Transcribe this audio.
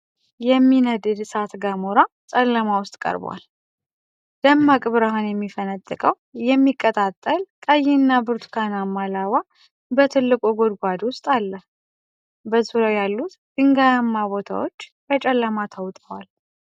የሚነድድ እሳተ ገሞራ (Lava Lake) ጨለማ ውስጥ ቀርቧል። ደማቅ ብርሃን የሚፈነጥቀው የሚቀጣጠል ቀይና ብርቱካናማ ላቫ በትልቁ ጉድጓድ ውስጥ አለ። በዙሪያው ያሉት ድንጋያማ ቦታዎች በጨለማ ተውጠዋል።